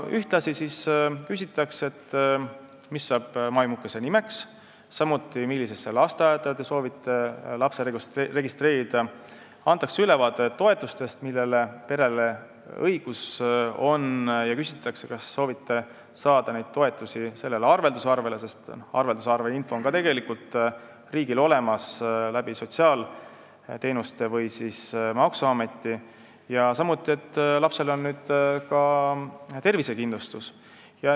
Ühtlasi küsitakse, mis saab maimukese nimeks, millisesse lasteaeda soovitakse laps registreerida, samuti antakse ülevaade toetustest, millele perel õigus on, ja uuritakse, kas soovitakse saada neid toetusi sellele arvelduskontole – sest arveldusinfo on ka tegelikult riigil olemas sotsiaalteenuste või maksuameti kaudu – ning lapsel on kohe olemas ka tervisekindlustus.